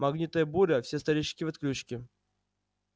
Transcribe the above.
магнитная буря все старички в отключке